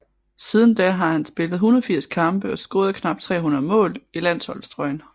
Siden da har han spillet 180 kampe og scoret knap 300 mål i landsholdstrøjen